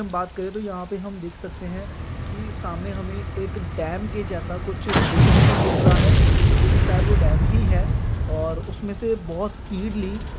हम बात करे तो यहा पे हम दिख सकते है की सामने हमे एक डैम के जैसा कुछ देखने को मिल रहा है जो की शायद वो डैम ही है और उसमे से बहुत स्पीडली